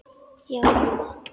Já, mamma.